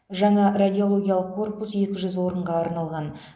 жаңа радиологиялық корпус екі жүз орынға арналған